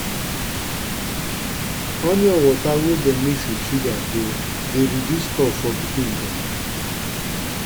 onion water wey dem mix with sugar dey dey reduce cough for pikin dem.